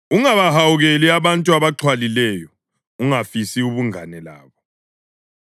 Ungabahawukeli abantu abaxhwalileyo, ungafisi ubungane labo;